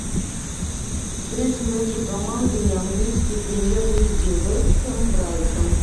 встреча между командами английской премьер лиги вест хэм брайтон